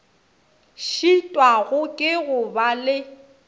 šitwago ke go ba le